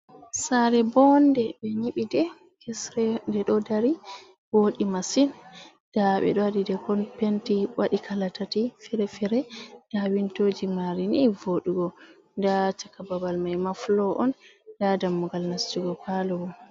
Saare ɓonnde, ɓe nyiɓi nde hesre, ndeɗon dari wooɗi masin, nda ɓeɗon waɗinde penti waɗi kala tati feere feere, nda windowji mare ni woɗugo, nda chaka babal maima fulor oun, nda dammugal nastugo palor.